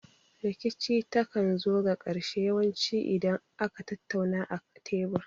Rikici ta kan zo ga ƙarshe yawan ci idan aka tattauna a tebur